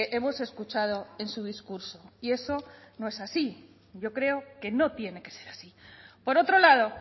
hemos escuchado en su discurso y eso no es así yo creo que no tiene que ser así por otro lado